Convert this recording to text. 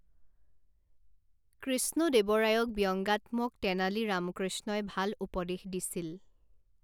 কৃষ্ণদেৱৰায়ক ব্যংগাত্মক তেনালী ৰামকৃষ্ণই ভাল উপদেশ দিছিল।